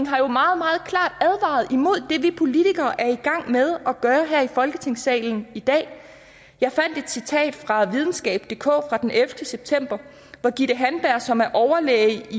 har jo meget meget klart advaret imod det vi politikere er i gang med at gøre her i folketingssalen i dag jeg fandt et citat fra videnskabdk fra den ellevte september hvor gitte handberg som er overlæge